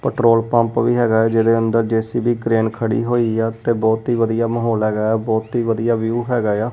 Petrol pump ਵੀ ਹੈਗਾ ਜਿਹਦੇ ਅੰਦਰ ਜੇ_ਸੀ_ਬੀ ਕਰੇਨ ਖੜੀ ਹੋਈ ਆ ਤੇ ਬਹੁਤ ਹੀ ਵਧੀਆ ਮਾਹੌਲ ਹੈਗਾ ਬਹੁਤ ਹੀ ਵਧੀਆ ਵਿਊ ਹੈਗਾ ਆ।